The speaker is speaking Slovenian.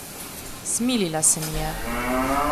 Smilila se mi je.